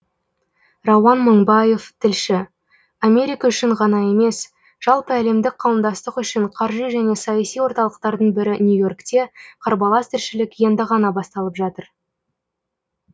рауан мыңбаев тілші америка үшін ғана емес жалпы әлемдік қауымдастық үшін қаржы және саяси орталықтардың бірі нью и оркте қарбалас тіршілік енді ғана басталып жатыр